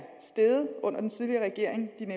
en